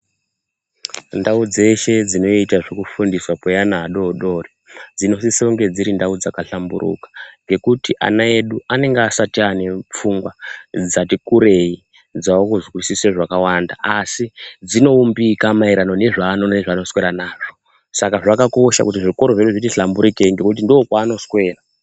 Ndau dzeshe dzinoita zvekufundiwa kweana adodori dzinosisonge dziri ndau dzakahlamburuka ngekuti ana edu anenge asati ane pfungwa dzati kurei dzakuzwisise zvakawanda asi dzinoumbika maererano nezvano nezvanoswera nazvo saka zvakakosha kuti zvikoro zvedu zviti hlamburikei nekuti ndokwa anoswera.